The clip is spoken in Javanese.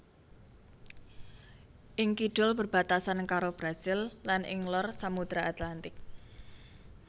Ing kidul berbatasan karo Brasil lan ing lor Samudra Atlantik